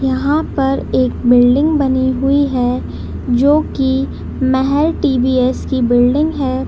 यहां पे एक बिल्डिंग बनी हुई है जो कि मैहर टी.वी.एस. की बिल्डिंग है।